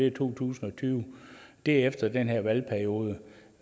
i to tusind og tyve det er efter den her valgperiode